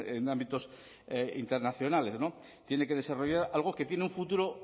en ámbitos internacionales tiene que desarrollar algo que tiene un futuro